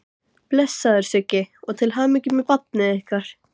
Blessaður Siggi, og til hamingju með barnið ykkar.